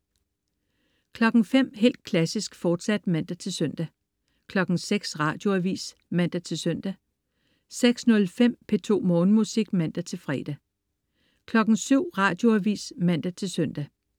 05.00 Helt Klassisk, fortsat (man-søn) 06.00 Radioavis (man-søn) 06.05 P2 Morgenmusik (man-fre) 07.00 Radioavis (man-søn)